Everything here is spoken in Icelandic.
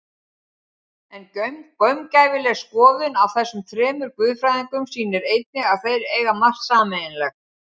En gaumgæfileg skoðun á þessum þremur guðfræðingum sýnir einnig að þeir eiga margt sameiginlegt.